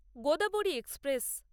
Godavari express